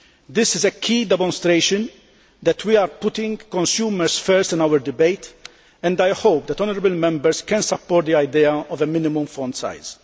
This is a key demonstration that we are putting consumers first in our debate and I hope that honourable Members can support the idea of a minimum font size.